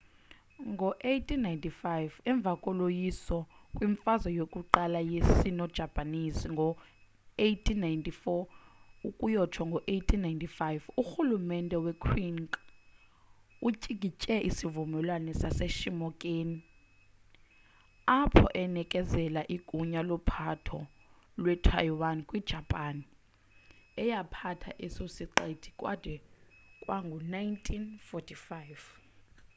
ngo-1895 emva koloyiso kwimfazo yokuqala ye-sino-japanese ngo-1894-1895 urhulumente we-qing utyikitya isivumelwano saseshimoneki apho enekezela igunya lophatho lwe-taiwan kwi-japan eyaphatha eso siqithi kwade kwangu-1945